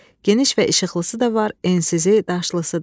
Geniş və işıqlısı da var, ensizi, daşlısı da.